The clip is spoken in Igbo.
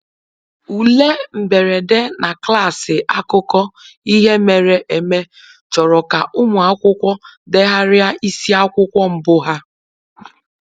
Ule mberede na klaasị akụkọ ihe mere eme chọrọ ka ụmụ akwụkwọ degharịa isiakwụkwọ mbụ ha